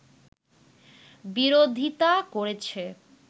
বিরোধিতা করেছে